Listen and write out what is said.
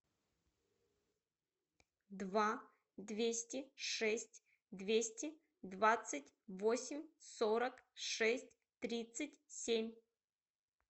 два двести шесть двести двадцать восемь сорок шесть тридцать семь